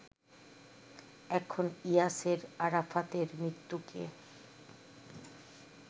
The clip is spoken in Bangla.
এখন ইয়াসের আরাফাতের মৃত্যুকে